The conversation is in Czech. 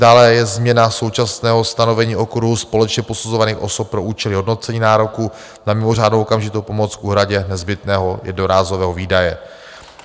Dále je změna současného stanovení okruhu společně posuzovaných osob pro účely hodnocení nároku na mimořádnou okamžitou pomoc k úhradě nezbytného jednorázového výdaje.